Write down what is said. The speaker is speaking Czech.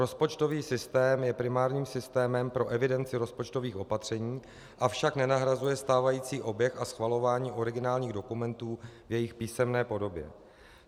Rozpočtový systém je primárním systémem pro evidenci rozpočtových opatření, avšak nenahrazuje stávající oběh a schvalování originálních dokumentů v jejich písemné podobě.